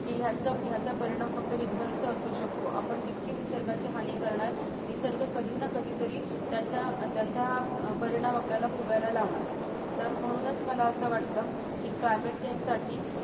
की याच-याचा परिणाम फक्त विध्वंस असू शकतो आपण जितकी निसर्गाची हानी करणार निसर्ग कधी ना कधीतरी त्याच-त्याचा परिणाम आपल्याला भोगायला लावणार तर म्हणूनच मला असं वाटतं की climate change साठी